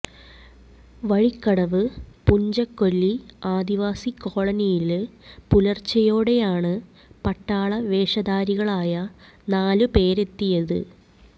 വഴിക്കടവ് പുഞ്ചക്കൊല്ലി ആദിവാസി കോളനിയില് പുലര്ച്ചെയോടെയാണ് പട്ടാള വേഷധാരികളായ നാല് പേരെത്തിയത്